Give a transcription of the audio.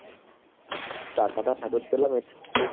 টাকাটা ফেরত পেলাম এটা।